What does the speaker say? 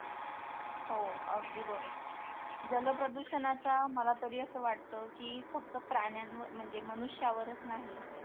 हो अगदी बरोबर जलप्रदूषणाचा मला तरी असं वाटतं की फक्त प्राण्यांवर म्हणजे मनुष्यावरच नाही